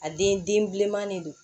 A den den bilenman de don